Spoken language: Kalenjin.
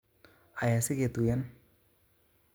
Aya siketuyen